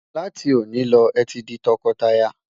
là tí oni ló, é tí di tó kò tá yà